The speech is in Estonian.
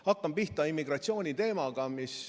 Hakkan pihta immigratsiooniteemaga.